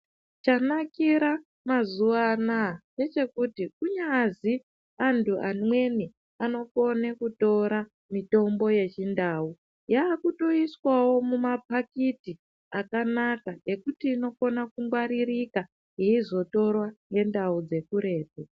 Chanakira mazuwa anaa ndechekuti kunyazi antu amweni anokone kutora mitombo yechindau yaakutoiswawo mumapakiti akanaka ekuti inokona kungwaririka yeizotorwa ngendau dzekuretu.